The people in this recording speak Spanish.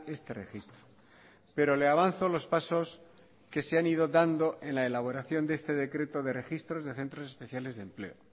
este registro pero le avanzo los pasos que se han ido dando en la elaboración de este decreto de registros de centros especiales de empleo